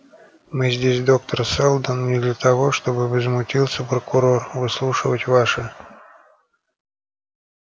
мы здесь доктор сэлдон не для того чтобы возмутился прокурор выслушивать ваши